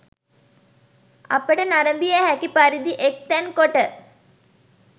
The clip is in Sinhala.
අපට නැරඹිය හැකි පරිදි එක්තැන් කොට